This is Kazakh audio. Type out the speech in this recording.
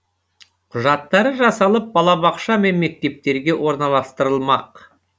құжаттары жасалып балабақша мен мектептерге орналастырылмақ